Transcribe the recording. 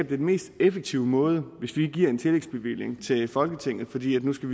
den mest effektive måde hvis vi giver en tillægsbevilling til folketinget fordi vi nu skal